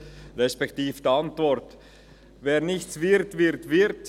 «Wer nichts wird, wird Wirt;